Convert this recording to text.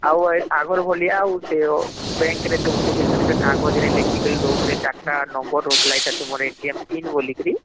ଆଉ ହମ୍ଅଗର ଭଳିଆ ସେ bank ରେ ତୁମକୁ ଯଉ କାଗଜରେ ଲେଖିକରି ଦଉଥିଲେ ୪ଟା number ହଉଥିଲା ଏଟା ତୁମର pin ବୋଲିକିରି